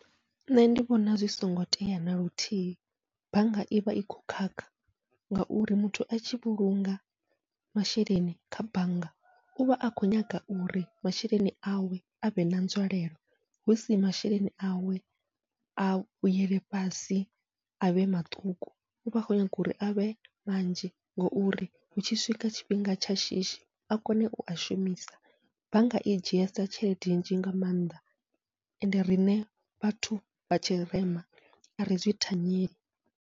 Nṋe ndi vhona zwi songo tea naluthihi bannga ivha i khou khakha, ngauri muthu atshi vhulunga masheleni kha bannga uvha a khou nyaga uri masheleni awe avhe na nzwalelo, husi masheleni awe a vhuyele fhasi avhe maṱuku uvha a khou nyaga uri avhe manzhi, ngouri hutshi swika tshifhinga tsha shishi a kone ua shumisa bannga i dzhiesa tshelede nnzhi nga maanḓa, ende riṋe vhathu vha tshirema ari zwi thanyeli.